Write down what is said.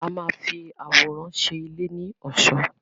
A máa fi àwòrán ṣe ilé ní ọ̀ṣọ́.